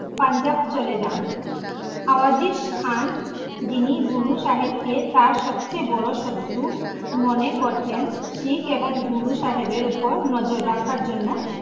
পাঞ্জাব চলে জান, আফজিজ খান, যিনি গুরু সাহেব কে তার সবচে বড়ো শত্রু মনে করতেন, শিখ এবং গুরু সাহেবের উপর নজর রাখা জন্য পাঞ্জাব চলে জান ।